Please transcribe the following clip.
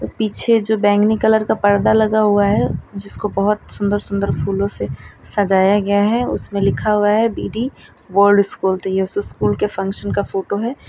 पीछे जो बैंगनी कलर का पर्दा लगा हुआ है जिसको बहोत सुन्दर सुन्दर फूलों से सजाया गया है उसमें लिखा हुआ है बी डी वर्ल्ड स्कूल तो ये स्कूल के फंक्शन का फोटो है।